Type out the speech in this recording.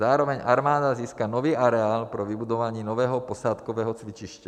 Zároveň armáda získá nový areál pro vybudování nového posádkového cvičiště.